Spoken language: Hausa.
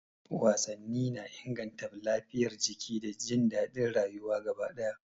Wasanni na inganta lafiyar jiki da jin daɗin rayuwa gaba ɗaya.